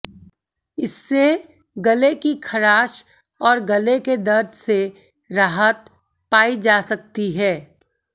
इससे गले की खराश और गले के दर्द से राहत पाई जा सकती है